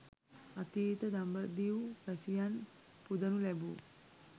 අතීත දඹදිව් වැසියන් පුදනු ලැබූ